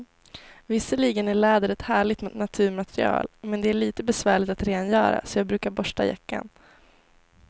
Visserligen är läder ett härligt naturmaterial, men det är lite besvärligt att rengöra, så jag brukar borsta jackan.